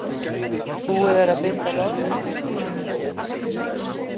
Búið að binda loðnuskip við bryggju